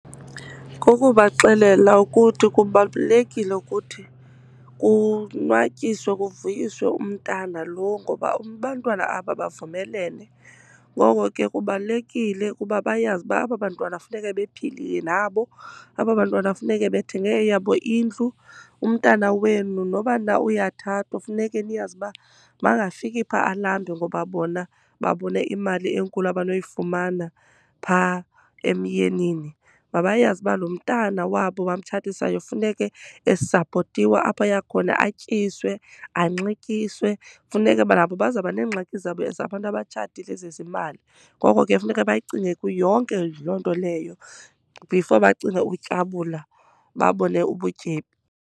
Kukubaxelela ukuthi kubalulekile ukuthi kunwatyiswe kuvuyiswe umntana loo, ngoba abantwana aba bavumelelene. Ngoko ke, kubalulekile ukuba bayazi uba aba bantwana funeke bephilile nabo. Aba bantwana funeke bethenge eyabo indlu. Umntana wenu noba na uyathathwa funeke niyazi uba makangafiki pha alambe, ngoba bona babone imali enkulu abanoyifumana pha emyenini. Mabayazi uba lo mntana wabo bamtshatisayo funeke esapotiwe apho aya khona, atyiswe, anxityiswe. Funeke ba nabo bazawuba neengxaki zabo zabantu abatshatile zezimali. Ngoko ke, funeka bayicinge yonke loo nto leyo before bacinge ukutyabula babone ubutyebi.